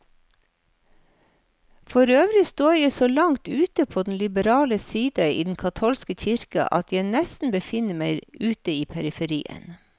Forøvrig står jeg så langt ute på den liberale side i den katolske kirke, at jeg nesten befinner meg ute i periferien.